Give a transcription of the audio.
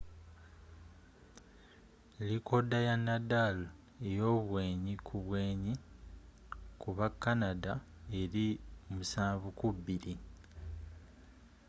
likooda ya nadal eyobwenyi kubwenyi ku ba canada eri 7-2